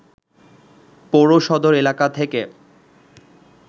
পৌর সদর এলাকা থেকে